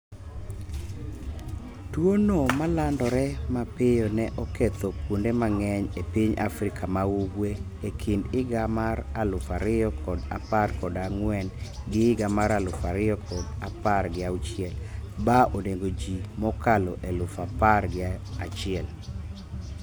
tuwo no ma landore ma pio ne oketho kuonde ma ng'eny e piny Afrika maugwe e kind higa mar aluf ariyo kod apar kod ang'wen gi higa mar aluf ariyo kod apar gi auchiel ba onego ji mokalo eluf apar gi achiel